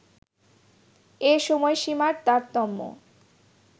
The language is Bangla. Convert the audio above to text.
এ সময়সীমার তারতম্য